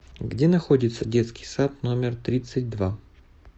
где находится детский сад номер тридцать два